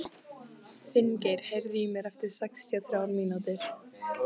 Finngeir, heyrðu í mér eftir sextíu og þrjár mínútur.